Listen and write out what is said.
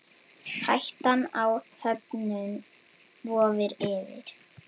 Hættan á höfnun vofir yfir.